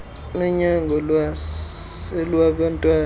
nonyango lwasesibhedlele lwabantwana